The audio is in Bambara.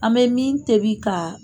An bɛ min tobi k'a